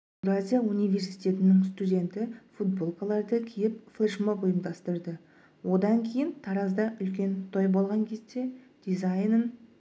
еуразия университетінің студенті футболкаларды киіп флешмоб ұйымдастырды одан кейін таразда үлкен той болған кезде дизайнын